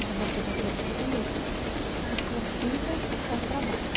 Mas você vai ter que escolher, ou sua filha ou o trabalho.